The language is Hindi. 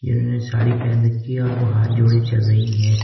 इन्होंने साड़ी पहन रखी है और वो हाथ जोडे चल रही है।